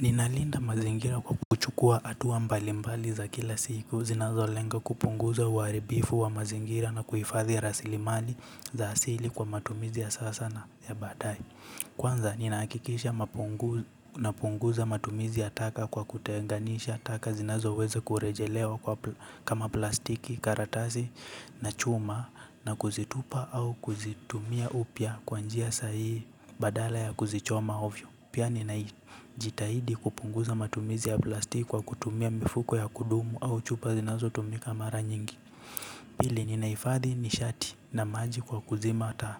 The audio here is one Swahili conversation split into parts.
Ninalinda mazingira kwa kuchukua hatua mbali mbali za kila siku zinazolenga kupunguza uharibifu wa mazingira na kuhifadhi rasilimali za asili kwa matumizi ya sasa na ya badae. Kwanza ninahakikisha napunguza matumizi ya taka kwa kutenganisha, taka zinazoweza kurejelewa kama plastiki, karatasi na chuma na kuzitupa au kuzitumia upya kwa njia sahihi badala ya kuzichoma ovyo. Pia ninajitahidi kupunguza matumizi ya plastiki kwa kutumia mifuko ya kudumu au chupa zinazo tumika mara nyingi. Pili ninahifadhi ni shati na maji kwa kuzima ata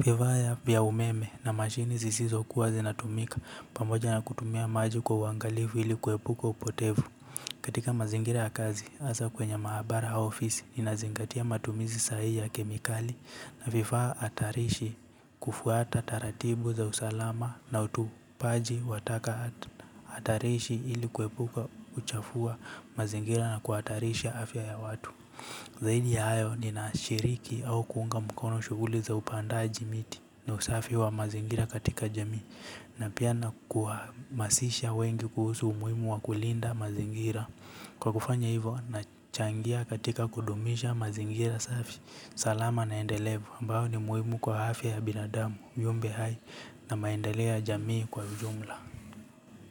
viwaya vya umeme na mashini zisizo kuwa zinatumika pamoja na kutumia maji kwa uangalifu ili kuepuka upotevu. Katika mazingira ya kazi hasa kwenye mahabara ya ofisi ninazingatia matumizi sahihi ya kemikali na vifaa hatarishi kufuata taratibu za usalama na utupaji wa taka hatarishi ili kuepuka kuchafua mazingira na kuhatarisha afya ya watu. Zaidi ya hayo ninashiriki au kuunga mkono shughuli za upandaji miti na usafi wa mazingira katika jamii na pia na kuhamasisha wengi kuhusu umuhimu wa kulinda mazingira. Kwa kufanya hivyo nachangia katika kudumisha mazingira safi salama na endelevu ambayo ni muhimu kwa afya ya binadamu viumbe hai na maendeleo ya jamii kwa ujumla.